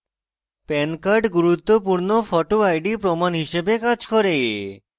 pan card গুরুত্বপূর্ণ photo ID প্রমাণ হিসাবে card করে